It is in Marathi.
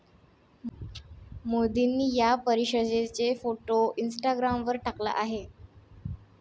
मोदींनी या परिषदेचा फोटो इंस्टाग्रामवर टाकला आहे.